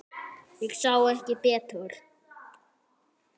Ég sá ekki betur.